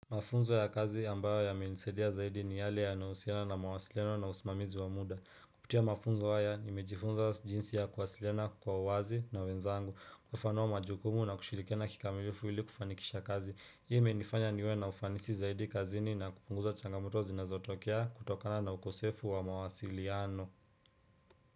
Mafunzo ya kazi ambayo yamenisadia zaidi ni yale yanausiana na mawasilino na usimamizi wa muda. Kuputia mafunzo haya, nimejifunza jinsi ya kuwasilina kwa uwazi na wenzangu, kufanoa majukumu na kushilikena kikamilifu ili kufanikisha kazi. Hii imenifanya niwe na ufanisi zaidi kazini na kupunguza changamoto zinazotokea kutokana na ukosefu wa mawasiliano.